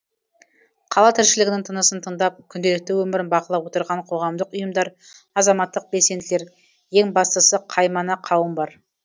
қала тіршілігінің тынысын тыңдап күнделікті өмірін бақылап отырған қоғамдық ұйымдар азаматтық белсенділер ең бастысы қаймана қауым бар